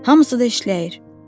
Hamısı da işləyir!